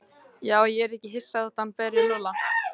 Já, ég yrði ekki hissa þótt hann berði Lúlla.